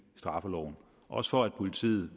straffeloven også for at politiet